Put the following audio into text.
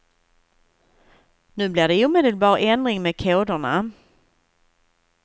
Nu blir det omedelbar ändring med koderna.